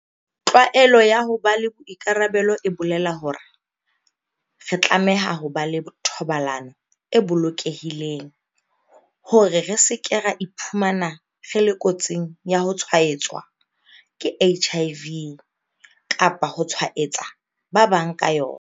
Tlwaelo ya ho ba le boikarabelo e boela hore re tlameha ho ba le thobalano e bolokehileng hore re se ke ra iphumana re le kotsing ya ho tshwaetswa ke HIV kapa ho tshwaetsa ba bang ka yona.